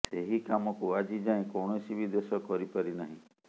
ସେହି କାମକୁ ଆଜି ଯାଏଁ କୌଣସି ବି ଦେଶ କରିପାରି ନାହିଁ